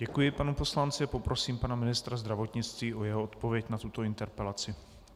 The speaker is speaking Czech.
Děkuji panu poslanci a poprosím pana ministra zdravotnictví o jeho odpověď na tuto interpelaci.